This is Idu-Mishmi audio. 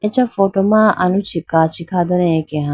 acha photo ma aluchi kachi khadane akeha.